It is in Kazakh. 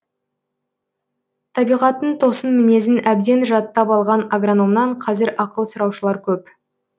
табиғаттың тосын мінезін әбден жаттап алған агрономнан қазір ақыл сұраушылар көп